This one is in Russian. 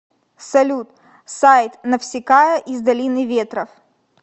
салют сайт навсикая из долины ветров